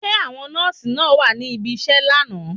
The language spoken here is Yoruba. Ṣé àwọn nọ́ọ̀sì náà wá si ibiṣẹ́ lánàá?